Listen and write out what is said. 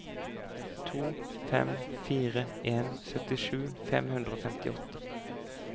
to fem fire en syttisju fem hundre og femtiåtte